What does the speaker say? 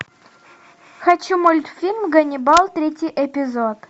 хочу мультфильм ганнибал третий эпизод